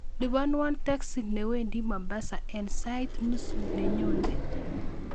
Lupanuon teksi nwendi mombasa en sait nusu nenyone